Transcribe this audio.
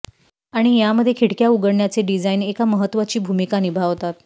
आणि यामध्ये खिडक्या उघडण्याचे डिझाईन एक महत्वाची भूमिका निभावतात